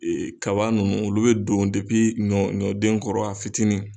kaba ninnu olu bɛ don ɲɔ ɲɔden kɔrɔ a fitiinin.